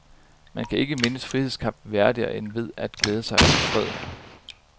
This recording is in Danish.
Man kan ikke mindes frihedskampen værdigere end ved at glæde sig over freden.